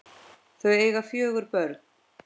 Þau eiga fjögur börn